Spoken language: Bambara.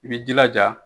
I b'i jilaja